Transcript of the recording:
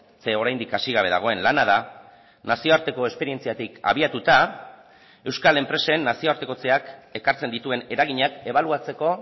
zeren oraindik hasi gabe dagoen lana da nazioarteko esperientziatik abiatuta euskal enpresen nazioartekotzeak ekartzen dituen eraginak ebaluatzeko